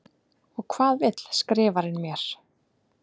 Og hvað vill Skrifarinn mér?